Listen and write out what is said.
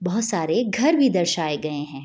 बहोत सारे घर भी दर्शाये गए हैं।